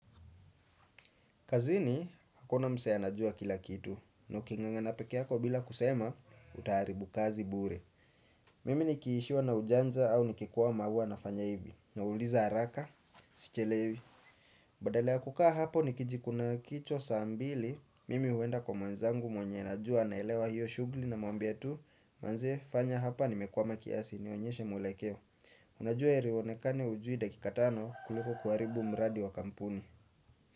Kazini, hakuna msee anajua kila kitu, na ukingangana pekee yako bila kusema, utaharibu kazi bure. Mimi nikiishiwa na ujanza au nikikwama huwa nafanya hivi, nauliza haraka, sichelewi. Badala ya kukaa hapo nikijikuna kichws saa mbili, mimi huenda kwa mwenzangu mwenye najua naelewa hiyo shughuli na mwambia tu, manze fanya hapa nimekwama kiasi, nionyeshe mwelekeo. Unajua heri uonekane hujui dakika tano kuliko kuharibu mradi wa kampuni.